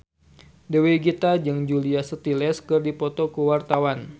Dewi Gita jeung Julia Stiles keur dipoto ku wartawan